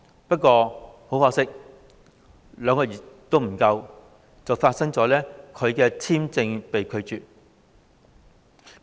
不過很可惜，不足兩個月，便發生他的工作簽證被拒絕續期的事件。